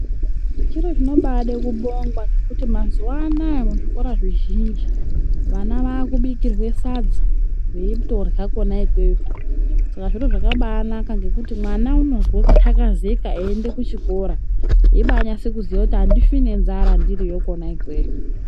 Zviro zvinobaade kubongwa ngekuti mazuwa anaa muzvikora zvizhinji vana vaakubikirwe sadza veitorya kwona ikweyo. Saka Zviro zvakabaanaka ngekuti mwana unozwe kuthakazeka einde kuchikora eibaanase kuziya kuti andifi nenzara ndiri kwona ikweyo.